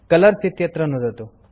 colours इत्यत्र नुदतु